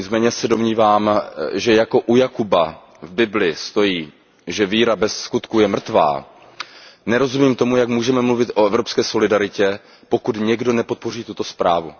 Nicméně se domnívám, že jako u Jakuba v Bibli stojí, že víra bez skutků je mrtvá, nerozumím tomu, jak můžeme mluvit o evropské solidaritě, pokud někdo nepodpoří tuto zprávu.